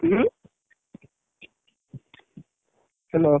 ଉଁ Hello ।